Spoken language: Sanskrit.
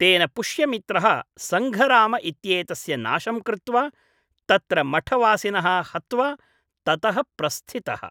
तेन पुष्यमित्रः सङ्घराम इत्येतस्य नाशं कृत्वा तत्र मठवासिनः हत्वा, ततः प्रस्थितः।